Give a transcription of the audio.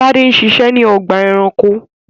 Tade ṣiṣẹ́ ní ọgbà-ẹranko.